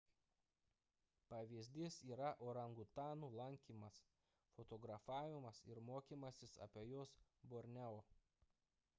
pavyzdys yra orangutanų lankymas fotografavimas ir mokymasis apie juos borneo